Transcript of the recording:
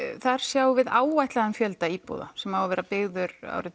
þar sjáum við áætlaðan fjölda íbúða sem á að vera byggður